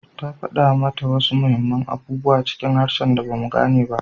Ta fada mata wasu muhimman abubuwa cikin harshen da ba mu gane ba